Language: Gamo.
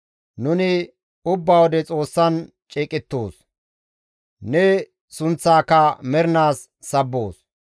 Nuni ubba wode Xoossan ceeqettoos; ne sunththaaka mernaas sabboos.